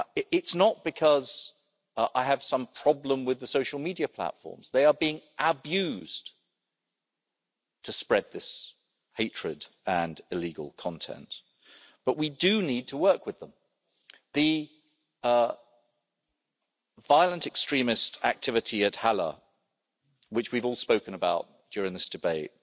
It's not because I have some problem with the social media platforms they are being abused to spread this hatred and illegal content but we do need to work with them. The violent extremist activity at Halle which we've all spoken about during this debate